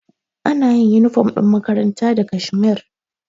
Anayin inifom ɗin makaranta da kashmir